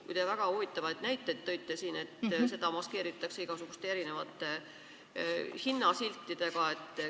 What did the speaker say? Muide, väga huvitavaid näiteid tõite siin, et seda maskeeritakse igasuguste hinnasiltidega.